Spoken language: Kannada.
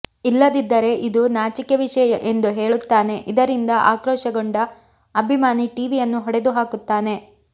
ಇಲ್ಲದಿದ್ದರೆ ಇದು ನಾಚಿಕೆ ವಿಷಯ ಎಂದು ಹೇಳುತ್ತಾನೆ ಇದರಿಂದ ಆಕ್ರೋಶಗೊಂಡ ಅಭಿಮಾನಿ ಟಿವಿಯನ್ನು ಹೊಡೆದು ಹಾಕುತ್ತಾನೆ